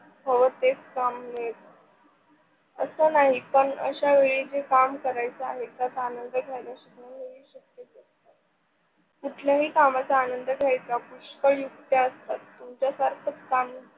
हव तेच काम मिळ अस नही पण आशा वेळी जे काम करीच आहे त्याचा झाल्याशिवाय कुठल्याही कामाचा आनंद घ्यायचा पुष्कळ युक्त्या असतात. तुमच्या सारख काम